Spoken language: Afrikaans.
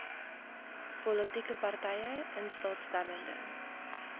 politieke partye instaatstellende